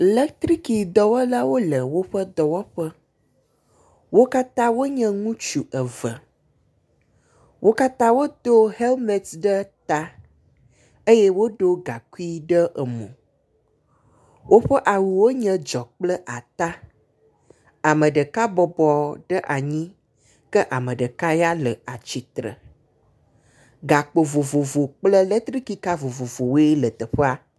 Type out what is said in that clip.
Letrikidɔwɔlawo le woƒe dɔwɔƒe. Wo katã wonye ŋutsu eve. Wo katã wodo helmet ɖe ta eye woɖo gaŋkui ɖe emo. Woƒe awuwo nye dzɔ kple ata. Ame ɖeka bɔbɔ ɖe anyi ke ame ɖeka ya le atsitre. Gakpo vovovo kple letrikika vovovowoe le teƒea.